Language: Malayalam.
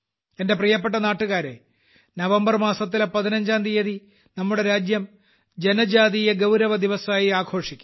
എന്റെ പ്രിയപ്പെട്ട നാട്ടുകാരെ നവംബർ മാസത്തിലെ 15ാം തീയതി നമ്മുടെ രാജ്യം ജനജാതീയ ഗൌരവദിവസ് ആയി ആഘോഷിക്കും